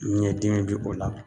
Ɲɛ dimi bi o la